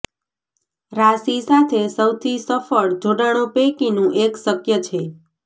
રાશિ સાથે સૌથી સફળ જોડાણો પૈકીનું એક શક્ય છે